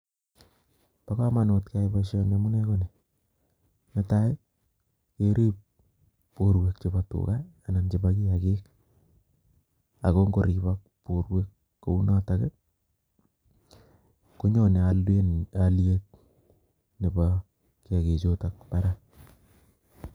Bo komonut keyai boisoni amunee ko ni. Ne tai, ng'erib borwek chebo tuga anan chebo kiyagiik, ago ng'oribok, borwek kounotok, konyone um aliet nebo kiyagiik chutok barak